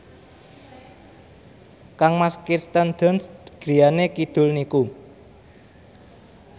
kangmas Kirsten Dunst griyane kidul niku